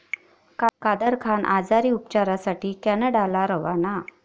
कादर खान आजारी, उपचारासाठी कॅनडाला रवाना